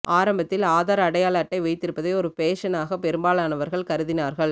ஆரம்பத்தில் ஆதார் அடையாள அட்டை வைத்திருப்பதை ஒரு ஃபேஷனாகவே பெரும்பாலானவர்கள் கருதினார்கள்